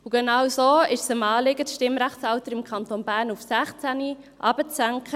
Genauso erging es 2009 auch dem Anliegen, das Stimmrechtsalter im Kanton Bern auf 16 Jahre zu senken.